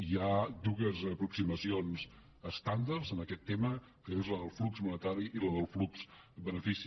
hi ha dues aproximacions estàndards en aquest tema que és la del flux monetari i la del flux benefici